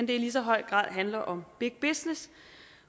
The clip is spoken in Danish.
det i lige så høj grad handler om big business